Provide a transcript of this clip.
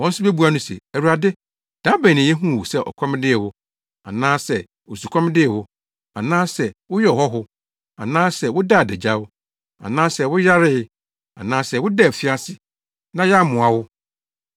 “Wɔn nso bebua no se, ‘Awurade, da bɛn na yehuu wo sɛ ɔkɔm dee wo, anaasɛ osukɔm dee wo, anaasɛ woyɛɛ ɔhɔho, anaasɛ wodaa adagyaw, anaasɛ woyaree, anaasɛ wodaa afiase, na yɛammoa wo?’